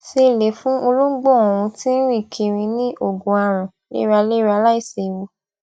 se le fun olongbo oun ti n rin kiri ni ogun aran leralera laisewu